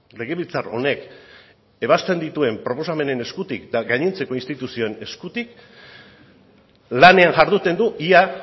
legebiltzar honek ebazten dituen proposamenen eskutik eta gainontzeko instituzioen eskutik lanean jarduten du ia